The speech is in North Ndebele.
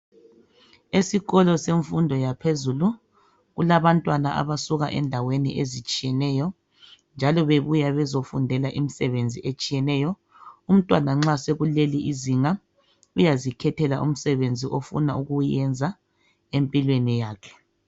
Esikolo semfundo yaphezulu kulabantwana abasuka endaweni ezitshiyeneyo njalo bebuya bezofundela imisebenzi etshiyeneyo. Umntwana nxa sekuleli inzinga uyazikhethela umsebenzi ofuna ukuyenza empilweni yakhe.